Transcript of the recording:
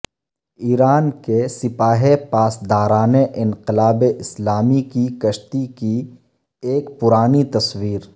ایران کے سپاہ پاسداران انقلاب اسلامی کی کشتی کی ایک پرانی تصویر